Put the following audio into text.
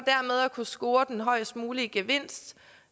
kunne score den højest mulige gevinst